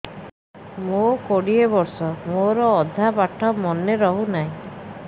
ମୋ କୋଡ଼ିଏ ବର୍ଷ ମୋର ଅଧା ପାଠ ମନେ ରହୁନାହିଁ